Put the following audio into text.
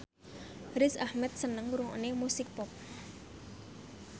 Riz Ahmed seneng ngrungokne musik pop